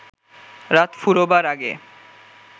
রাত ফুরোবার আগে